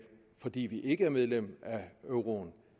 fordi vi ikke er medlem af euroen